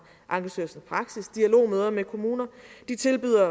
ankestyrelsens praksis dialogmøder med kommuner de tilbyder